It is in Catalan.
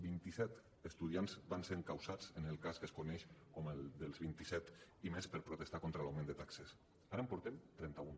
vint i set estudiants van ser encausats en el cas que es coneix com el d’ els vinti set i més per protestar contra l’augment de taxes ara en portem trenta un